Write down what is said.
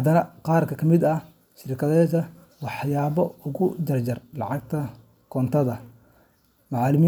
cadaadis dhaqaale oo joogto ah. Qaar ka mid ah shirkadahani waxay si toos ah uga jaraan lacagta koontada macaamiliminta.